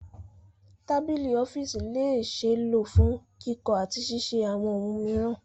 Tabili ọfiisi le ṣee lo fun kikọ ati ṣiṣe awọn ohun miiran